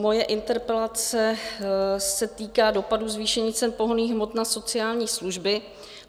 Moje interpelace se týká dopadu zvýšení cen pohonných hmot na sociální služby.